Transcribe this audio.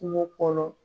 Kungo kɔnɔ